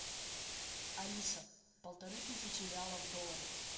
алиса полторы тысячи реалов в доллары